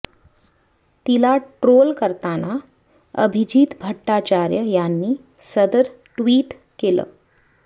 तिला ट्रोल करताना अभिजित भट्टाचार्य यांनी सदर ट्वीट केलं